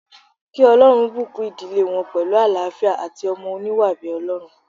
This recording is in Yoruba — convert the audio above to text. Kí Olórun bùkún ìdílé wọn pẹ̀lú àlááfíà àti ọmọ oníwà bíi Ọlọ́run